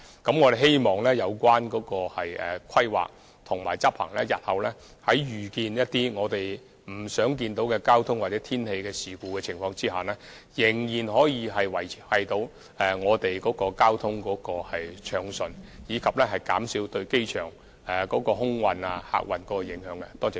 我們希望透過執行這些規劃及措施，日後在遇到一些我們不想看到的交通或天氣事故時，仍然能夠維持交通暢順，以及減少對機場空運和客運的影響。